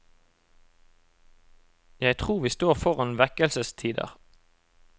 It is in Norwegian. Jeg tror vi står foran vekkelsestider.